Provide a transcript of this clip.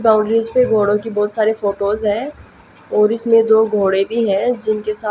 boundaries पे घोड़ों की बहोत सारी फोटोज हैं और इसमें दो घोड़े भी हैं जिनके सा--